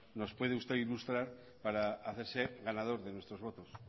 nos puede usted ilustrar para hacerse ganador de nuestros votos